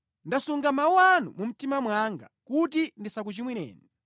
Ndasunga mawu anu mu mtima mwanga kuti ndisakuchimwireni.